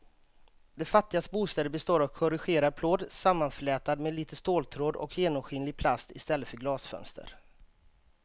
De fattigas bostäder består av korrugerad plåt sammanflätad med lite ståltråd och genomskinlig plast i stället för glasfönster.